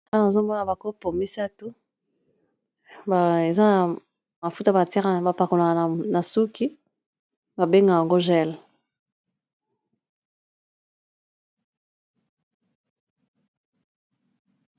aana azomona bakopo misato eza na mafuta ba terre bapakonaka na suki babengaka yango gel